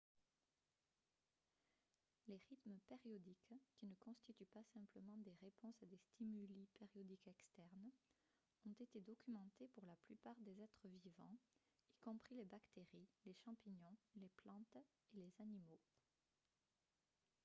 les rythmes périodiques qui ne constituent pas simplement des réponses à des stimuli périodiques externes ont été documentés pour la plupart des êtres vivants y compris les bactéries les champignons les plantes et les animaux